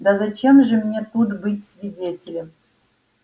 да зачем же мне тут быть свидетелем